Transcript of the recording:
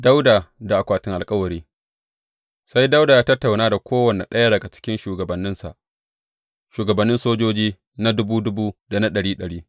Dawowa da akwatin alkawari Sai Dawuda ya tattauna da kowane ɗaya daga cikin shugabanninsa, shugabannin sojoji na dubu dubu da na ɗari ɗari.